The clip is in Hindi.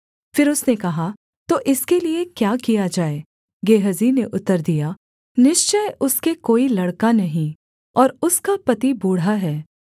फिर उसने कहा तो इसके लिये क्या किया जाए गेहजी ने उत्तर दिया निश्चय उसके कोई लड़का नहीं और उसका पति बूढ़ा है